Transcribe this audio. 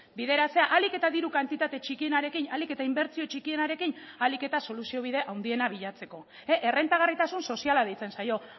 bideratzea ahalik eta diru kantitate txikienarekin ahalik eta inbertsio txikienarekin ahalik eta soluziobide handiena bilatzeko errentagarritasun soziala deitzen zaio